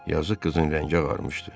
Yazıq qızın rəngi ağarmışdı.